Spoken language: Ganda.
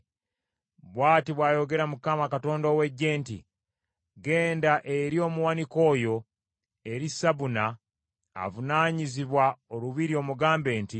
Bw’ati bw’ayogera Mukama Katonda ow’Eggye nti, “Genda eri omuwanika oyo, eri Sabuna avunaanyizibwa olubiri omugambe nti,